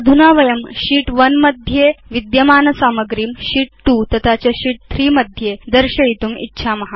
अधुना वयं शीत् 1 स्थां सामग्रीं शीत् 2 तथा च शीत् 3मध्ये दर्शयितुम् इच्छाम